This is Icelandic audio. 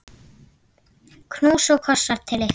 Knús og kossar til ykkar.